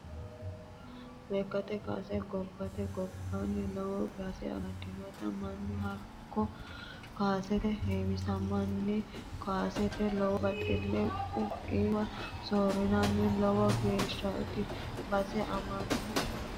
Lekkate kaase gobbate gobbani lowo base amadinote mannu hakko kaasetenni heewissamanni kaaseteni lowo baxile ku"u koiwa soorirano lowo geeshshati base aanohu kaasete.